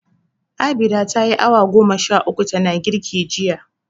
Abinda ta yi awa goma sha uku tana girki jiya.